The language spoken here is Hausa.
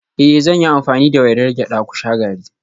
Eh zan yi amfani da wainar gyada ku sha garri